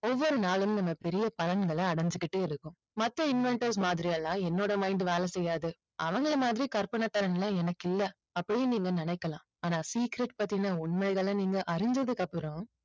ஒவ்வொரு நாளும் நம்ம பெரிய பலன்களை அடைஞ்சுக்கிட்டே இருக்கோம். மத்த inventors மாதிரி எல்லாம் என்னோட mind வேலை செய்யாது அவங்களை மாதிரி கற்பனை திறன் எல்லாம் எனக்கு இல்லை அப்படின்னு நீங்க நினைக்கலாம். ஆனால் secret பத்தின உண்மைகளை நீங்க அறிஞ்சதுக்கு அப்புறம்